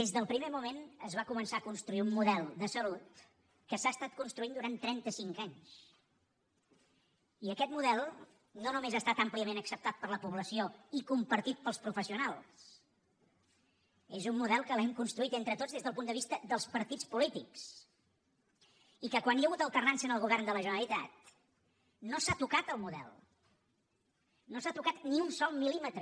des del primer moment es va començar a construir un model de salut que s’ha estat construint durant trenta cinc anys i aquest model no només ha estat àmpliament acceptat per la població i compartit pels professionals és un model que hem construït entre tots des del punt de vista dels partits polítics i que quan hi ha hagut alternança en el govern de la generalitat no s’ha tocat el model no s’ha tocat ni un sol mil·límetre